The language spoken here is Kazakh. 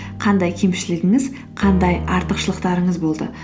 қандай кемшілігіңіз қандай артықшылықтарыңыз болды